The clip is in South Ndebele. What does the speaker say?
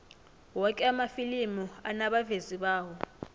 woke amafilimi anabavezi bawo